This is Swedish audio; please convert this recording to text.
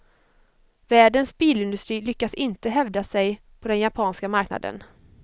Världens bilindustri lyckas inte hävda sig på den japanska marknaden.